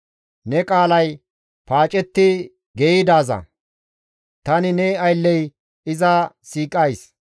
Ne qaalay paacetti geeyidaaza; tani ne aylley iza siiqays.